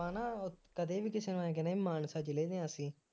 ਆਪਾਂ ਨਾ ਕਦੇ ਵੀ ਕਿਸੇ ਨੂੰ ਆਂਏਂ ਕਹਿੰਦੇ ਹਾਂ ਮਾਨਸਾ ਜਿਲ੍ਹੇ ਨੇ ਆ ਕੇ